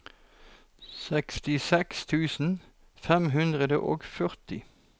sekstiseks tusen fem hundre og førti